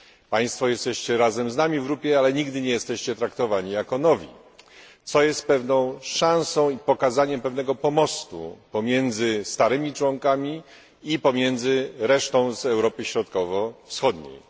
Państwo jesteście razem z nami w grupie, ale nigdy nie jesteście traktowani jako nowi, co jest pewną szansą na pokazanie pewnego pomostu pomiędzy starymi członkami i pomiędzy resztą z Europy Środkowo Wschodniej.